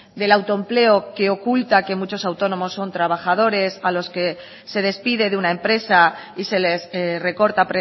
del autoempleo que oculta que muchos autónomos son trabajadores a los que se despide de una empresa y se les recorta